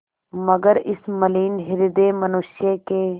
मगर इस मलिन हृदय मनुष्य ने